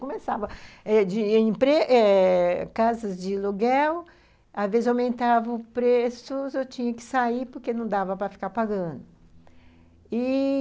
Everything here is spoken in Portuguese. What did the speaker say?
Começava de em empre eh... casas de aluguel, às vezes aumentava o preço, eu tinha que sair porque não dava para ficar pagando e...